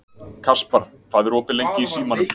Kaspar, hvað er opið lengi í Símanum?